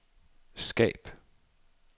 skab